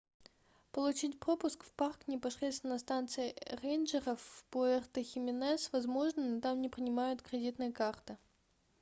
получить пропуск в парк непосредственно на станции рейнджеров в пуэрто-хименес возможно но там не принимают кредитные карты